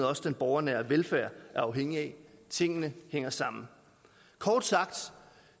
også den borgernære velfærd er afhængig af tingene hænger sammen kort sagt